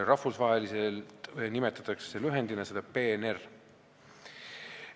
Rahvusvaheliselt nimetatakse seda lühendiga PNR.